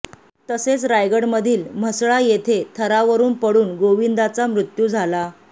तसेच रायगडमधील म्हसळा येथे थरावरून पडून गोविंदाचा मृत्यू झाला